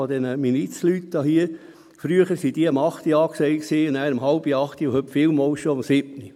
Früher waren solche um 20 Uhr angesagt, dann um 19.30 Uhr und heute vielmals schon um 19 Uhr.